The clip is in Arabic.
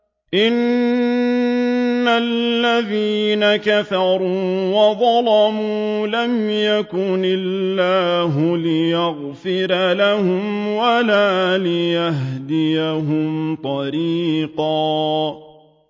إِنَّ الَّذِينَ كَفَرُوا وَظَلَمُوا لَمْ يَكُنِ اللَّهُ لِيَغْفِرَ لَهُمْ وَلَا لِيَهْدِيَهُمْ طَرِيقًا